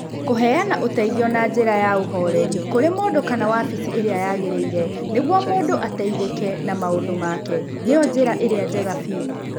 Kũheana ũteithio na njĩra ya ũhooreri kũrĩ mũndũ kana wabici ĩrĩa yagĩrĩire nĩguo mũndũ ateithĩke na maũndũ make, nĩyo njĩra ĩrĩa njega biũ.